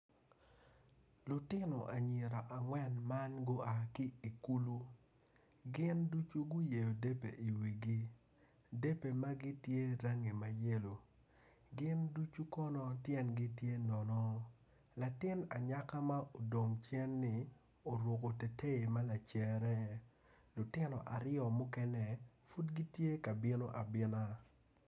Lutino anyira angwen ma gua ki i kulu gin ducu guyeyo debe i wigi debe magi gitye rangi ma yelo gin ducu kono tyengi tye nono latin anyaka ma odong cenni oruko teteyi ma lacere lutino aryo mukene pud gitye ka bino abina.